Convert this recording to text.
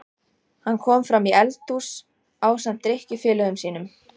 Hann kom framí eldhús ásamt drykkjufélögum sínum.